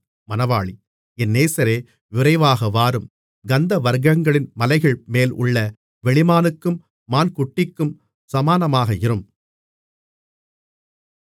என் நேசரே விரைவாக வாரும் கந்தவர்க்கங்களின் மலைகள்மேல் உள்ள வெளிமானுக்கும் மான் குட்டிக்கும் சமானமாக இரும்